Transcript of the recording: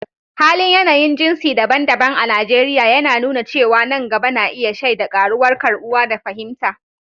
Halin yanayin jinsi daban-daban a Najeriya yana nuna cewa nan gaba na iya shaida ƙaruwar karɓuwa da fahimta